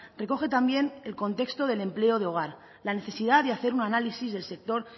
recoge también el contexto del empleo de hogar la necesidad de hacer un análisis del sector